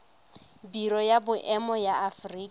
biro ya boemo ya aforika